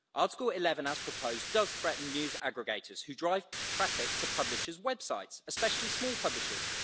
Article 11 as proposed does threaten news aggregators which drive traffic to publishers' websites, especially small publishers.